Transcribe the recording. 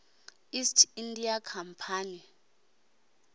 east india company